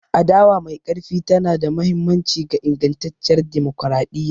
Adawa mai ƙarfi tana da mahimmanci ga ingantacciyar dimokuradiyya.